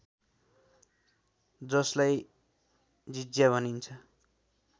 जसलाई जिज्या भनिन्छ